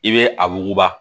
I bɛ a wuguba